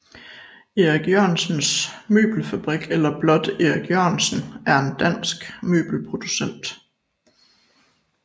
Erik Jørgensen Møbelfabrik eller blot Erik Jørgensen er en dansk møbelproducent